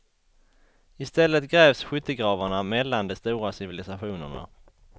I stället grävs skyttegravarna mellan de stora civilisationerna.